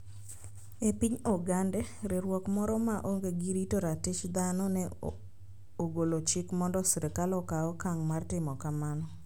E piny Ogande, riwruok moro ma onge gi rito ratich thano ne ogolo chik mondo sirkal okaw okang ' mar timo kamano: